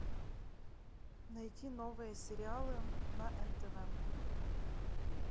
найти новые сериалы на нтв